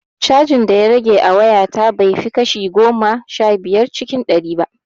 Cajin da ya rage a waya ta bai fi kashi goma sha biyar cikin ɗari ba